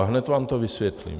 A hned vám to vysvětlím.